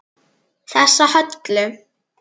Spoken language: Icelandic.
Þessa Höllu!